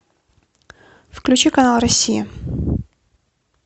включи канал россия